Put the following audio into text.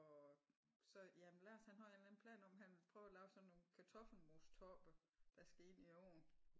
Og så jamen Lars han har en eller anden plan om han vil prøve at lave sådan nogle kartoffelmostoppe der skal ind i ovn